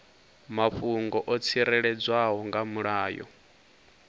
mafhungo o tsireledzwaho nga mulayo